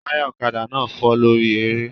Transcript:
Táyà ọ̀kadà náà fọ́ lórí eré